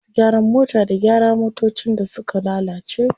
Masu gyaran mota da gyara motocin da suka lalace.